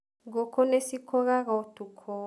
Ngũkũ nĩcikũgaga ũtukũ